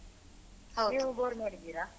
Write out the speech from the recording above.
ನೀವು ಬೋರ್ ಮಾಡಿದ್ದೀರಾ?